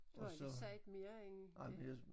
Du har ikke sagt mere end det